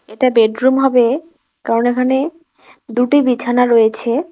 এটা বেডরুম হবে কারণ এখানে দুটি বিছানা রয়েছে।